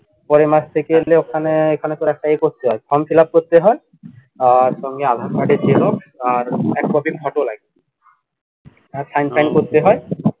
পরের মাস থেকে হলো এখানে এখানে তোর একটা করতে হয় form fillup করতে হয় আহ সঙ্গে আধার card এর xerox আর এক copy photo লাগবে আর sign টাইন করতে হয়